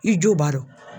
I jo b'a dɔn